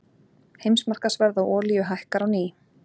Heimsmarkaðsverð á olíu hækkar á ný